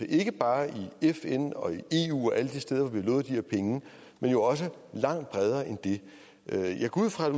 ikke bare i fn i eu og og alle de steder hvor vi har lovet de her penge men også langt bredere end det jeg går ud fra at